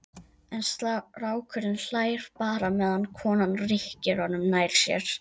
En strákurinn hlær bara meðan konan rykkir honum nær sér.